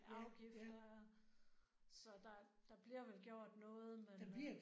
Afgifter ja. Så der der bliver vel gjort noget men øh